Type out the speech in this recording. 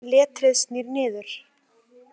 Letrið snýr niður.